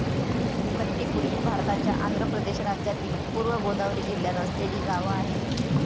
कट्टीपुडी भारताच्या आंध्र प्रदेश राज्यातील पूर्व गोदावरी जिल्ह्यात असलेली गाव आहे.